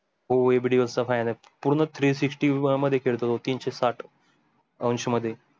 हो A B de Villiers चा fan आहे पूर्ण three sixty मध्ये खेडतो तो तीनशे साठ